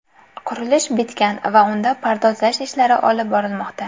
Qurilish bitgan va unda pardozlash ishlari olib borilmoqda.